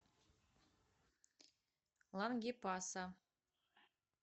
лангепаса